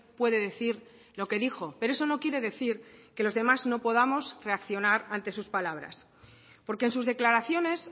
puede decir lo que dijo pero eso no quiere decir que los demás no podamos reaccionar ante sus palabras porque en sus declaraciones